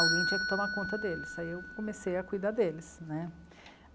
Alguém tinha que tomar conta deles, aí eu comecei a cuidar deles né.